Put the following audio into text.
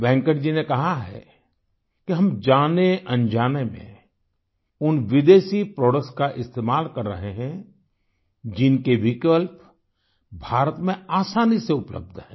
वेंकट जी ने कहा है कि हम जानेअनजाने में उन विदेशी प्रोडक्ट्स का इस्तेमाल कर रहे हैं जिनके विकल्प भारत में आसानी से उपलब्ध हैं